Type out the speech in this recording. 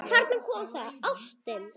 Þarna kom það: Ástin.